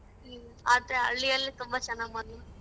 ಹ್ಮ್ ಆದ್ರೆ ಹಳ್ಳಿಯಲ್ ತುಂಬಾ ಚೆನ್ನಾಗ್ .